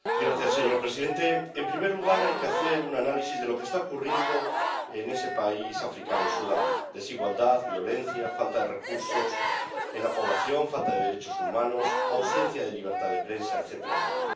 Señor presidente, en primer lugar, hay que hacer un análisis de lo que está ocurriendo en ese país africano, en Sudán desigualdad, violencia, falta de recursos en la población, falta de derechos humanos, ausencia de libertad de prensa, etcétera, etcétera.